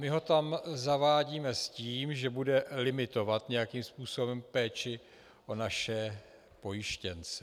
My ho tam zavádíme s tím, že bude limitovat nějakým způsobem péči o naše pojištěnce.